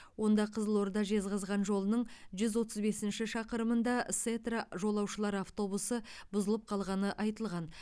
онда қызылорда жезқазған жолының жүз отыз бесінші шақырымында сетра жолаушылар автобусы бұзылып қалғаны айтылған